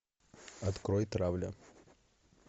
открой травля